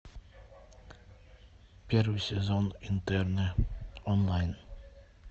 первый сезон интерны онлайн